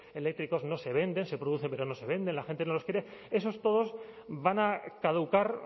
eléctricos no se venden se producen pero no se venden la gente no los quiere esos todos van a caducar